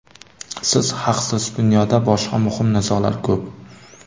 Siz haqsiz: dunyoda boshqa muhim nizolar ko‘p.